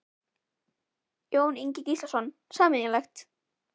Jón Ingi Gíslason: Sameiginlegt?